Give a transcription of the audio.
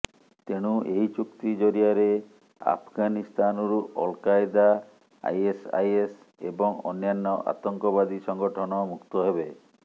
ତେଣୁ ଏହି ଚୁକ୍ତି ଜରିଆରେ ଆଫଗାନିସ୍ତାନରୁ ଅଲକାଏଦା ଆଇଏସଆଇଏସ ଏବଂ ଅନ୍ୟାନ୍ୟ ଆତଙ୍କବାଦୀ ସଂଗଠନ ମୁକ୍ତ ହେବ